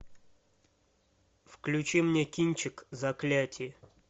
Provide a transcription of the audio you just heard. включи мне кинчик заклятие